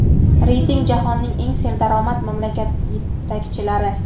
Reyting: Jahonning eng serdaromad mamlakat yetakchilari.